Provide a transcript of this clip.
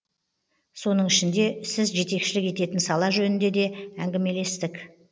соның ішінде сіз жетекшілік ететін сала жөнінде де әңгімелестік